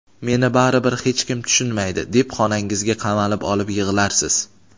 "Meni baribir hech kim tushunmaydi" deb xonangizga qamalib olib yig‘larsiz.